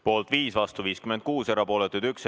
Poolt on 5, vastu 56 ja erapooletuid 1.